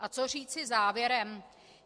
A co říci závěrem?